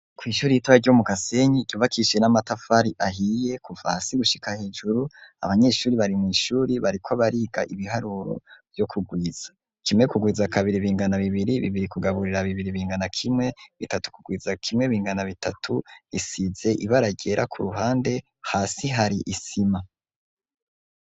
Kw'ishuri yitora ryo mu kasenyi ryubakishe n'amatafari ahiye kuva hasi gushika hejuru abanyeshuri bari mu ishuri bariko bariga ibiharuro byo kugwiza kimwe kugwiza kabiri bingana bibiri bibiri kugaburira bibiri bingana kimwe bitatu kugwiza kimwe bingana bitatu risize ibaragera ku ruhande hasi hari isima.